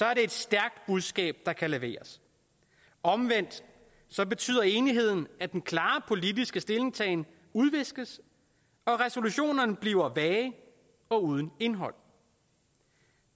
er det et stærkt budskab der kan leveres omvendt betyder enigheden at den klare politiske stillingtagen udviskes og at resolutionerne bliver vage og uden indhold